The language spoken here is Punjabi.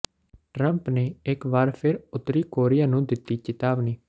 ਟਰੰਪ ਨੇ ਇਕ ਵਾਰੀ ਫਿਰ ਉੱਤਰੀ ਕੋਰੀਆ ਨੂੰ ਦਿੱਤੀ ਚਿਤਾਵਨੀ